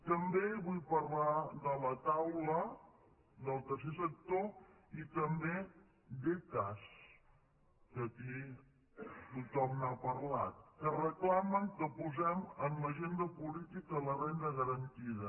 també vull parlar de la taula del tercer sector i també d’ecas que aquí tothom n’ha parlat que reclamen que posem en l’agenda política la renda garantida